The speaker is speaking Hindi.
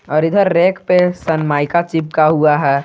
और इधर रैक पे सनमाइका चिपका हुआ है।